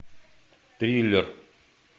триллер